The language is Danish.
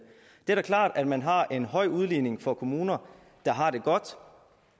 er da klart at man har en høj udligning for kommuner der har det godt